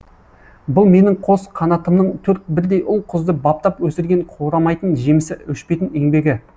бұл менің қос қанатымның төрт бірдей ұл қызды баптап өсірген қурамайтын жемісі өшпейтін еңбегі